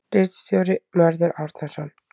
Ritstjóri: Mörður Árnason.